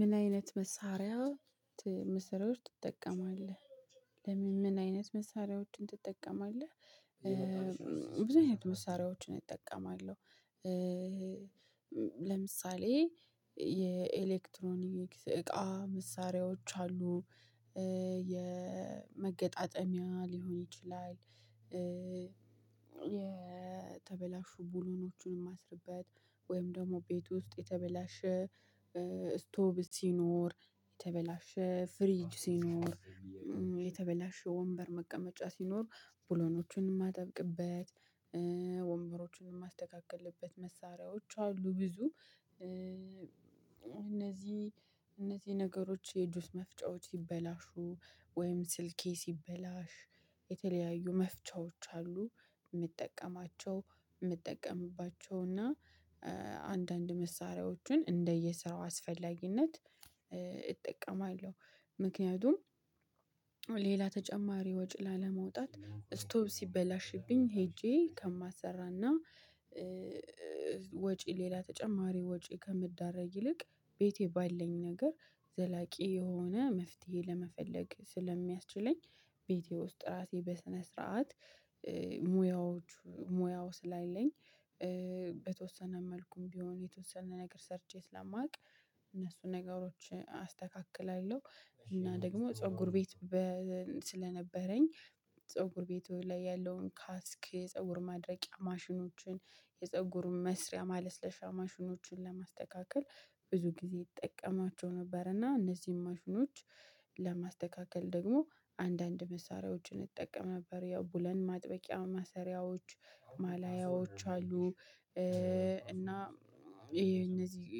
ምን አይነት መሳሪያ መሰሪያዎች ትጠቀማለህ? ለምን ምን አይነት መሳሪያዎችን ትጠቀማለህ? ብዙ አይነት መሳሪያዎችን አጠቀማለሁ። ለምሳሌ የኤሌክትሮኒክስ እቃ መሳሪያዎች አሉ የ የመገጣጠሚያ ሊሆን ይችላል። የተበላሹ ቡሎኖቹንም ማስርበት ወይም ደግሞ ቤት ውስጥ የተበላሸ ስቶብ ሲኖር የተበላሸ ፍሪጅ ሲኖር የተበላሸ ወንበር መቀመጫ ሲኖር ብሎኖችን ማጠብቅበት ወንበሮችን ማስተካክልበት መሳሪያዎች አሉ ብዙ። እነዚህ እነዚህ ነገሮች የጁስ መፍጫዎች ሲበላሹ ወይም ስልኬ ሲበላሽ የተለያዩ መፍቻዎች አሉ ምጠቀማቸው ምትጠቀምባቸው እና አንዳንድ መሳሪያዎቹን እንደየ ስራው አስፈላጊነት እጠቀማለሁ። ምክንያቱም ሌላ ተጨማሪ ወጪ ላለማውጣት ስቶብ ሲበላሽብኝ ሄጄ ከማሰራና ወጪ ሌላ ተጨማሪ ወጪ ከምዳረግ ይልቅ ቤቴ ባለኝ ነገር ዘላቂ የሆነ መፍትሄ ለመፈለግ ስለሚያስችለኝ። ቤቴ ውስጥ ራሴ በስነ ስርዓት ሙያዎች ሙያው ስላለኝ በተወሰነ መልኩም ቢሆን የተወሰነ ነገር ሰርቼ ስላማውቅ እነሱን ነገሮች አስተካክላለሁ። እና ደግሞ ፀጉር ቤት ስለነበረኝ ፀጉር ቤት ላይ ያለውን ካስክ ፀጉር ማድረቂያ ማሽኖችን የፀጉሩን መስሪያ ማለስለሻ ማሽኖችን ለማስተካከል ብዙ ጊዜ እጠቀማቸው ነበር። እና እነዚህን ማሽኖች ለማስተካከል ደግሞ አንዳንድ መሳሪያዎችን እጠቀም ነበር ያው ቡለን ማጥበቂያ ማሰሪያዎች ማላያዎች አሉ። እና ይሄ እነዚህ